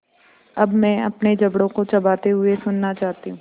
अब मैं अपने जबड़ों को चबाते हुए सुनना चाहती हूँ